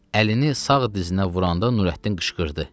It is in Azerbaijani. Əlini sağ dizinə vuranda Nurəddin qışqırdı.